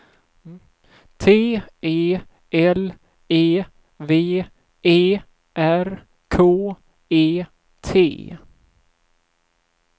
T E L E V E R K E T